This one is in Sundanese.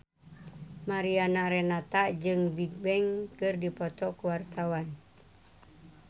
Mariana Renata jeung Bigbang keur dipoto ku wartawan